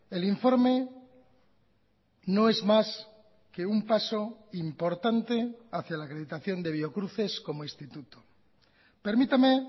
el informe no es más que un paso importante hacia la acreditación de biocruces como instituto permítame